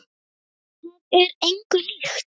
Það er engu líkt.